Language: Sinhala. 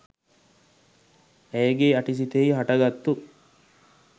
ඇයගේ යටි සිතෙහි හටගත්තු